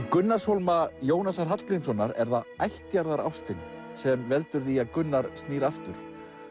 Gunnarshólma Jónasar Hallgrímssonar er það ættjarðarástin sem veldur því að Gunnar snýr aftur